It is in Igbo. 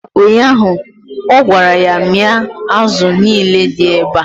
ụnyaahụ, ọ gwara ya 'mịa azụ niile dị ebea!